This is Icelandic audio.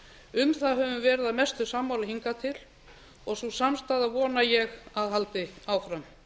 um það höfum verið að mestu sammála hingað til og sú samstaða vona ég að haldi áfram